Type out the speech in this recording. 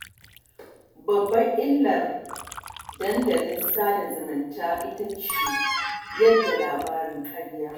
Babbar illar dandalin sada zumunta ita ce yaɗa labaran ƙarya